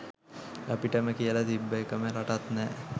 අපිටම කියල තිබ්බ එකම රටත් නෑ